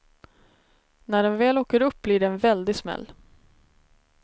När den väl åker upp blir det en väldig smäll.